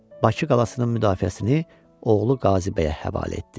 Bakı qalasının müdafiəsini oğlu Qazı Bəyə həvalə etdi.